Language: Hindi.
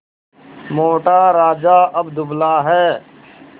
मोटा राजा अब दुबला है